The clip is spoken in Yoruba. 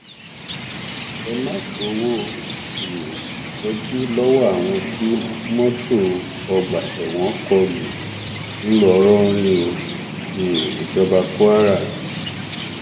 ẹ má gbowó um ìtọjú lọwọ àwọn tí mọtò ọgbà ẹwọn kọ lù ńlọrọrìn o um ìjọba kwara